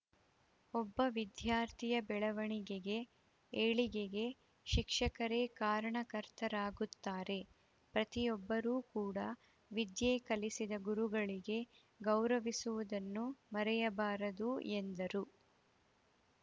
ಒಬ್ಬ ವಿದ್ಯಾರ್ಥಿಯ ಬೆಳವಣಿಗೆಗೆ ಏಳಿಗೆಗೆ ಶಿಕ್ಷಕರೇ ಕಾರಣ ಕರ್ತರಾಗುತ್ತಾರೆ ಪ್ರತಿಯೊಬ್ಬರೂ ಕೂಡಾ ವಿದ್ಯೆಕಲಿಸಿದ ಗುರುಗಳಿಗೆ ಗೌರವಿಸುವುದನ್ನು ಮರೆಯಬಾರದು ಎಂದರು